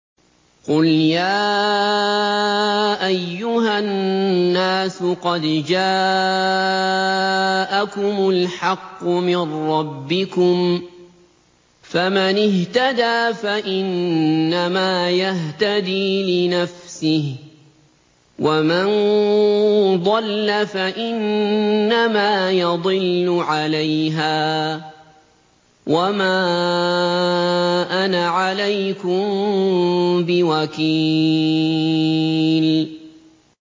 قُلْ يَا أَيُّهَا النَّاسُ قَدْ جَاءَكُمُ الْحَقُّ مِن رَّبِّكُمْ ۖ فَمَنِ اهْتَدَىٰ فَإِنَّمَا يَهْتَدِي لِنَفْسِهِ ۖ وَمَن ضَلَّ فَإِنَّمَا يَضِلُّ عَلَيْهَا ۖ وَمَا أَنَا عَلَيْكُم بِوَكِيلٍ